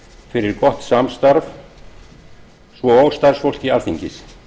fyrir gott samstarf svo og starfsfólki alþingis